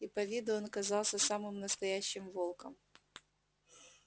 и по виду он казался самым настоящим волком